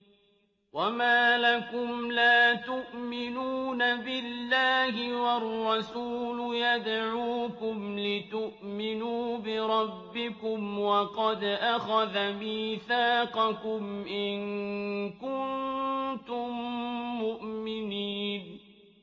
وَمَا لَكُمْ لَا تُؤْمِنُونَ بِاللَّهِ ۙ وَالرَّسُولُ يَدْعُوكُمْ لِتُؤْمِنُوا بِرَبِّكُمْ وَقَدْ أَخَذَ مِيثَاقَكُمْ إِن كُنتُم مُّؤْمِنِينَ